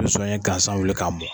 Be zonɲɛ gansan wuli k'a mɔ